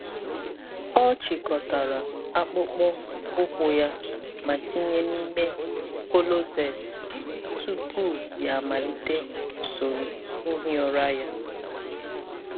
Ọ chịkọtara akpụkpọ ụkwụ ya ma tinye n’ime kọlọset tupu ya amalite usoro ihi ụra ya.